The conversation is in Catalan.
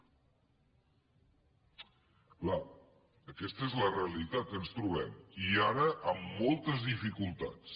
clar aquesta és la realitat que ens trobem i ara amb moltes dificultats